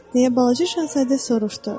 Deyə balaca Şahzadə soruşdu.